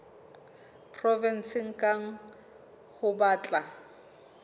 provenseng kang ho tla ba